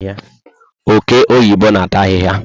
Oke oyibo na ata ahịhịa